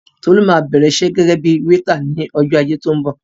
Tolú máa bẹ̀rẹ̀ iṣẹ́ gẹ́gẹ́ bíi wéétà ní ọjọ́ Ajé tó ń bọ̀.